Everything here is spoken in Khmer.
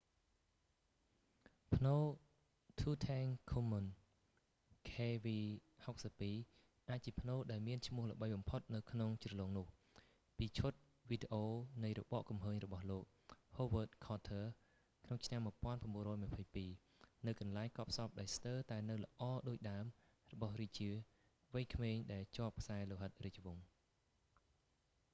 ផ្នូរ tutankhamun kv62 kv62 អាចជាផ្នូរដែលមានឈ្មោះល្បីបំផុតនៅក្នុងជ្រលងនោះ ពីឈុតវីដេអូនៃរបកគំហើញរបស់លោក howard carter ក្នុងឆ្នាំ 1922 នូវកន្លែងកប់សពដែលស្ទើរតែនៅល្អដូចដើមរបស់រាជាវ័យក្មេងដែលជាប់ខ្សែលោហិតរាជវង្ស